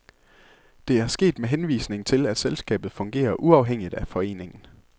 Det er sket med henvisning til, at selskabet fungerer uafhængigt af foreningen.